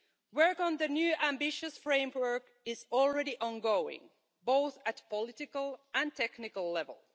Work on the new ambitious framework is already ongoing, both at political and technical level.